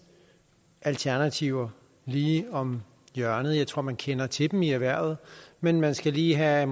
alternativer lige om hjørnet jeg tror at man kender til dem i erhvervet men man skal lige have